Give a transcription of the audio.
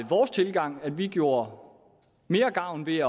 vores tilgang at vi gjorde mere gavn ved